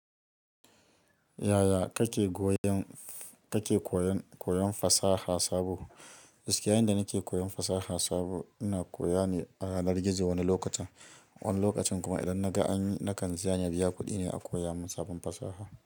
Yaya kake koyon fasaha sabo? Gaski yayan da nake koyon fasaha sabo ina koya ne a yanar gizo wani lokacin. Wani lokacin kuma idan na ga an yi nakan ziyaran biya kuɗi ne a koya min sabon fasaha.